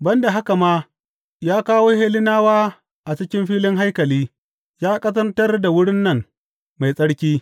Ban da haka ma, ya kawo Hellenawa a cikin filin haikali ya ƙazantar da wurin nan mai tsarki.